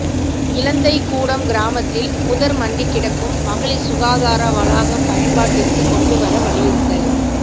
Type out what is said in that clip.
இலந்தை கூடம் கிராமத்தில் புதர் மண்டிக்கிடக்கும் மகளிர் சுகாதார வளாகம் பயன்பாட்டிற்கு கொண்டுவர வலியுறுத்தல்